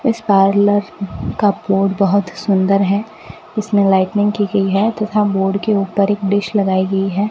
इस पार्लर का बोर्ड बहोत सुंदर है इसमें लाइटनिंग की गई है तथा बोर्ड के ऊपर एक डिश लगाई गई है।